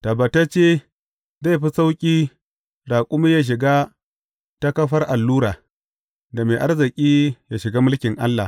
Tabbatacce, zai fi sauƙi raƙumi ya shiga ta kafar allura, da mai arziki ya shiga mulkin Allah.